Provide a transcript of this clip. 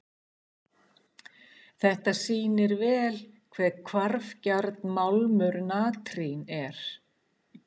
Þetta sýnir vel hve hvarfgjarn málmur natrín er.